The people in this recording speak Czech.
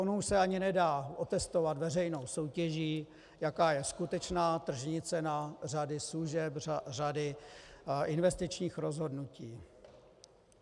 Ono už se ani nedá otestovat veřejnou soutěží, jaká je skutečná tržní cena řady služeb, řady investičních rozhodnutí.